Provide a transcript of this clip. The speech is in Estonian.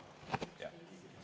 Jaa, pastakaga.